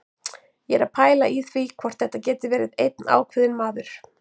Ég er að pæla í því hvort þetta geti verið einn ákveðinn maður.